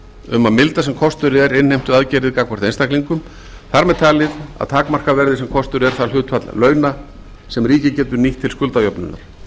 um að milda sem kostur er innheimtuaðgerðir gagnvart einstaklingum þar með talið að takmarka verði sem kostur er það hlutfall launa sem ríkið getur nýtt til skuldajöfnunar